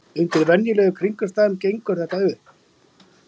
Undir venjulegum kringumstæðum gengur þetta upp.